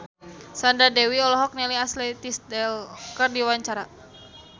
Sandra Dewi olohok ningali Ashley Tisdale keur diwawancara